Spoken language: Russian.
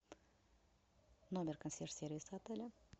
номер консьерж сервиса отеля